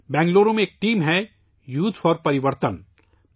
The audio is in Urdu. بنگلورو میں ایک ٹیم ہے '' یوتھ فار پریورتن ''